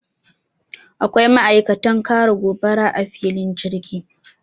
akwai ma'aikatan kare gobara a filin jirgi